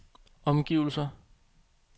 omgivelser